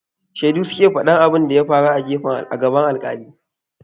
Shedu su ke faɗan abin da ya faru a gaban alƙali.